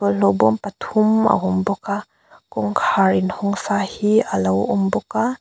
bawlhhlawh bâwm pathum a awm bawk a kawngkhar in hawng sa hi alo awm bawk a.